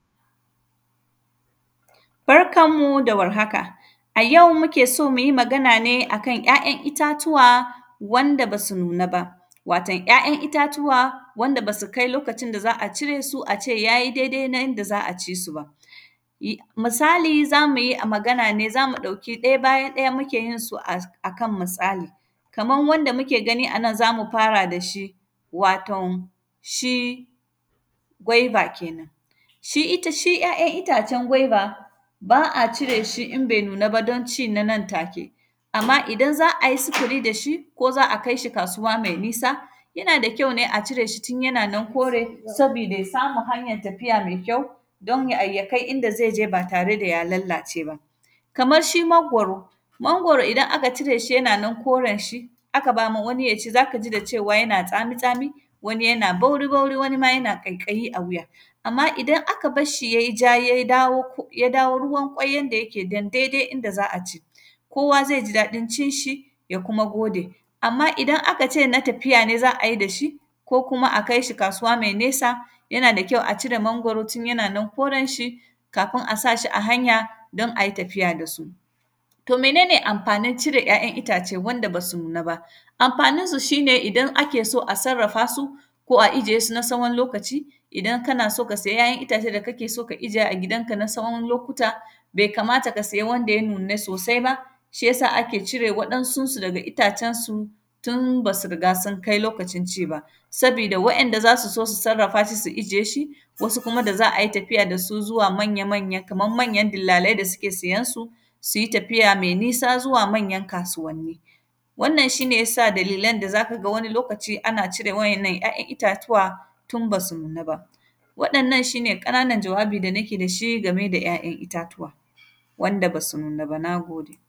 Barkan mu da warhaka, a yau muke so mu yi magana ne a kan ‘ya’yan itatuwa wanda ba su nuna ba, watan ‘ya’yan itatuwa wanda ba su kai lokacin da za a cire su, a ce ya yi dede na inda za a ci su ba. Yi; misali, za mi yi a; magan ne, za mu ɗauki ɗaya bayan ɗaya muke yin su as, a kan mutsali. Kaman wanda muke gani a nan, za mu fara da shi, waton shi gwaiba kenan, shi ita, shi ‘ya’yan itacen gwaiba, ba a cire shi in bai nun aba, don ci na nan take. Amma, idan za a yi sifiri da shi, ko za a kais hi kasuwa mai nisa, yana da kyau ne a cire shi tun yana nan kore, sabida ya samu hanyan tafiya me kyau, dan ya ai; ya kai inda ze je, ba tare da ya lallace ba. Kamash shi mangwaro, mangwaro idan aka cire shi yana nan koren shi, aka ba ma wani ya ci, za ka ji da cewa yana tsami-tsami, wani yana bauri-bauri, wani ma yana ƙaiƙayi a wuya. Amma, idan aka bash shi yai ja yai bawo, k; ya dawo ruwan ƙwai yanda yake dan daidai inda za a ci, kowa zai ji daɗin cin shi, ya kuma gode. Amma, idan aka ce na tafiya ne za a yi da shi, ko kuma a kai shi kasuwa mai nesa, yana da kyau a cire mangwaro tun yana nan koren shi kafin a sa shi a hanya, don ai tafiya da su. To, mene ne amfanin cire ‘ya’yan itace wanda ba su nuna ba? Amafaninsu, shi ne idan ake so a sarrafa su, ko ajiye sun a sawon lokaci, idan kana so ka saya ‘ya’yan itace da kake so ka ijiye a gidanka na tsawon lokuta, be kamata ka siya wanda ya nuna sose ba. Shi ya sa, ake cire waɗansunsu daga itacensu, tun ba su riga sun kai lokacin ci ba. Sabida waɗanda za su so susarrafa su su ijiye shi, wasu kuma da za a yi tafiya da su zuwa manya-manya, kaman manyan dillalai da sike sayan su, si yi tafiya me nisa zuwa manyan kasuwanni. Wannan, shi ne ya sa dalilan da za ka ga wani lokaci ana cire wa’yannan ‘ya’yan itatuwa, tun ba su nuna ba. Waɗannan, shi ne ƙananan jawabi da nake da shi game da ‘ya’yan itatuwa, wanda ba su nuna ba, na gode.